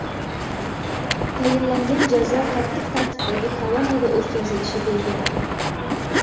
Tayinlangan jazo qattiq tartibdagi koloniyada o‘tkazilishi belgilandi.